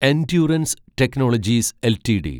endurance technologies LTD